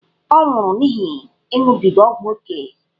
Ọ nwụrụ n’ihi ịṅụbiga ógwù ókè.